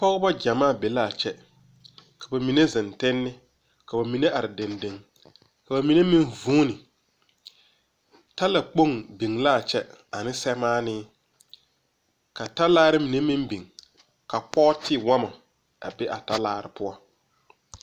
Pogebɔ gyamaa be laa kyɛ ka ba mine zeŋ tenne ka ba mine are deŋdeŋ ka ba mine meŋ vuune tala kpoŋ biŋ laa kyɛ aneŋ sɛmaanee ka talaare mine meŋ biŋ ka kpɔɔte wɔmɔ a be a talaare poɔ.